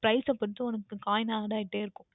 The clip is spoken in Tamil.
Price பொருத்து உனக்கு Coin Add ஆகிக்கொண்டு இருக்கும்